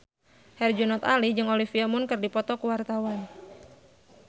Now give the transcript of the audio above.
Herjunot Ali jeung Olivia Munn keur dipoto ku wartawan